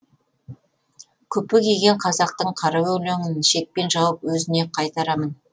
күпі киген қазақтың қара өлеңін шекпен жауып өзіне қайтарамын